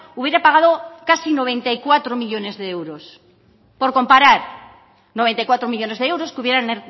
hubiera pagado casi noventa y cuatro millónes de euros por comparar noventa y cuatro millónes de euros que hubieran